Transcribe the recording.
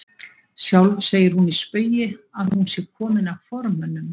Sjálf segir hún í spaugi að hún sé komin af formönnum